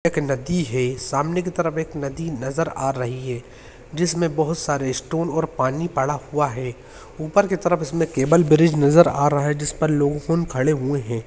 एक नदी है सामने की तरफ एक नदी नजर आ रही है जिसमें बहुत सारे स्टोन और पानी पड़ा हुआ है ऊपर की तरफ इसमें केबल ब्रिज नजर आ रहा है जिसपर लोफुन खड़े हुए है।